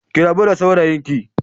Ki rabu da saurayinki